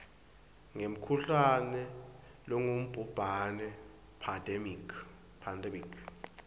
ngemkhuhlane longubhubhane pandemic